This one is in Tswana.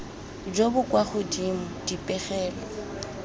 jo bo kwa godimo dipegelo